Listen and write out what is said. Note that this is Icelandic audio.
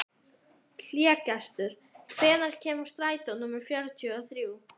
Hlégestur, hvenær kemur strætó númer fjörutíu og þrjú?